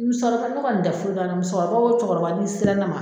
Musɔrɔta ko kɔni te foyi k'an na musokɔrɔba o cɛkɔrɔba n'i sira ne ma